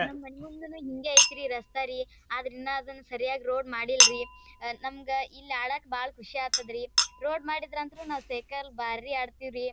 ನಮ್ಮ ಮನೆ ಮುಂದೆ ಹಿಂಗೇ ಐತೆ ರಸ್ತೆರೀ ಆದ್ರೆ ಇನ್ನ ಅದನ್ ಸರಿಯಾಗಿ ರೋಡ್ ಮಾಡಿಲ್ಲರಿ ಆ ನಮಗೆ ಇಲ್ಲಿ ಆಡಾಕೆ ಭಾಳ ಖುಷಿ ಆಗ್ತದ್ರಿ ರೋಡ್ ಮಾಡಿದ್ರು ಅಂದ್ರೆ ನಾವು ಸೈಕಲ್ ಭಾಳ ಆಡ್ತಿವ್ರಿ .